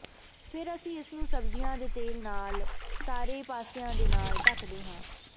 ਫਿਰ ਅਸੀਂ ਇਸ ਨੂੰ ਸਬਜ਼ੀਆਂ ਦੇ ਤੇਲ ਨਾਲ ਸਾਰੇ ਪਾਸਿਆਂ ਦੇ ਨਾਲ ਢੱਕਦੇ ਹਾਂ